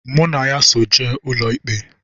Mụ na ya so jee ụlọikpe